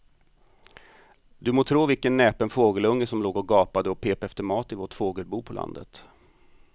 Du må tro vilken näpen fågelunge som låg och gapade och pep efter mat i vårt fågelbo på landet.